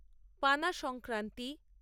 পানা সংক্রান্তি